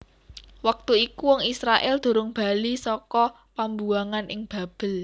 Wektu iku wong Israèl durung bali saka pambuwangan ing Babel